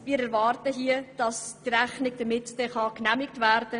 Wir erwarten, dass die Rechnung so genehmigt wird.